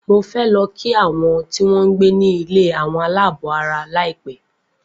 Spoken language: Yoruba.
Mo fẹ lo kí àwọn tí wọ́n gbé ní ilé àwọn aláàbọ̀ara laipe